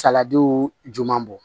Saladiw man bɔ